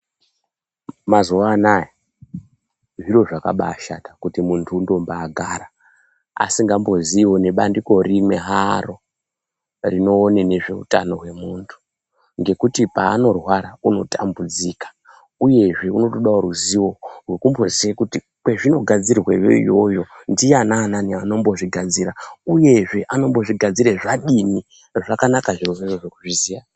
Mazuwa anaya zviro zvakabashata kuti muntu undombagara asingamboziiwo nebandiko rimwe haro rinoone nezveutano hwemuntu, Ngekuti paanorwara unotambudzika uyezve unotodawo ruzivo rwekumboziye kuti kwezvinogadzirweyo iyoyo, ndianani anombozvigadzira uyezve anombozvigadzire zvadini. Zvakanaka zviro zvozvo kuzviziya.